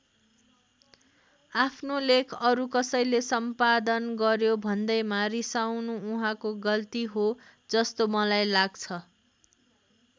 आफ्नो लेख अरू कसैले सम्पादन गर्‍यो भन्दैमा रिसाउनु उहाँको गल्ती हो जस्तो मलाई लाग्छ।